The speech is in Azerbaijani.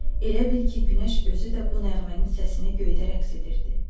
Elə bil ki, günəş özü də bu nəğmənin səsinə göydə rəqs edirdi.